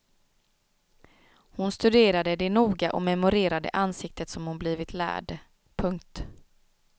Hon studerade det noga och memorerade ansiktet som hon blivit lärd. punkt